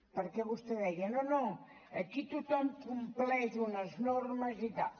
perquè vostè deia no no aquí tothom compleix unes normes i tal